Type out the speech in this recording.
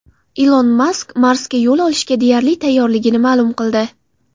Ilon Mask Marsga yo‘l olishga deyarli tayyorligini ma’lum qildi.